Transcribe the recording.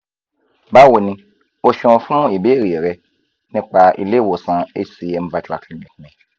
báwo ni o ṣeun fún ìbéèrè rẹ nípa ilé ìwòsàn hcm virtual clinic mi